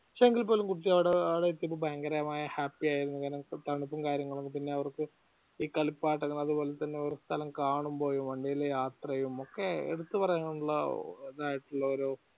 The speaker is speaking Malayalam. പക്ഷെ എങ്കില്പോലു കുട്ടി അവടെ പയങ്കരമായ happy ആയിരുന്നു അങ്ങനെ തണുപ്പും കാര്യങ്ങളും പിന്നെ അവർക് ഈ കളിപ്പാട്ടങ്ങൾ അതുപോലെതന്നെ ഓരോ സ്ഥലം കാണുമ്പോഴും വണ്ടിയിൽ യാത്ര ചെയ്യുമ്പോ ഒക്കെ എടുത്ത് പറയാനുള്ള ഇതായിട്ടുള്ള ഒരു